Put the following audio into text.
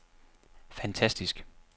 fantastisk